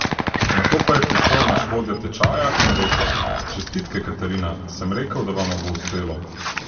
Nato pa je prišel naš vodja tečaja in rekel: "Čestitke Katarina, sem rekel, da vama bo uspelo.